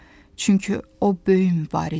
Çünki o böyük mübarizdir.